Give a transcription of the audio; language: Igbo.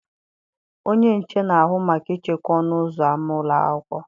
Onye nche na-ahụ maka ichekwa ọnụ ụzọ ámá ụlọ akwụkwọ.